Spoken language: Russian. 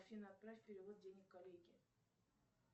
афина отправь перевод денег коллеге